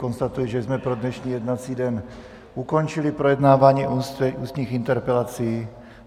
Konstatuji, že jsme pro dnešní jednací den ukončili projednávání ústních interpelací.